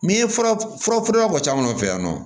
N'i ye fura fura bɔ sisan nɔ fɛ yan nɔ